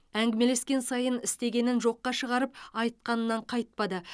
әңгімелескен сайын істегенін жоққа шығарып айтқанынан қайтпады